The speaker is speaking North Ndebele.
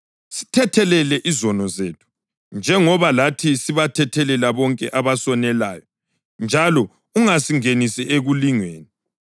Sithethelele izono zethu, njengoba lathi sibathethelela bonke abasonelayo. Njalo ungasingenisi ekulingweni.’ ”